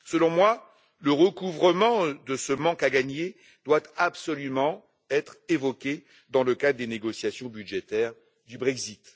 Selon moi, le recouvrement de ce manque à gagner, doit absolument être évoqué dans le cadre des négociations budgétaires du Brexit.